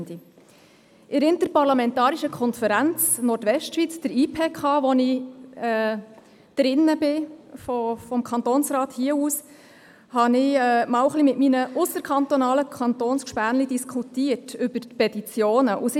In der Interparlamentarischen Konferenz Nordwestschweiz (IPK NWCH), der ich angehöre, habe ich mit meinen ausserkantonalen Kolleginnen und Kollegen über das Thema «Petitionen» diskutiert.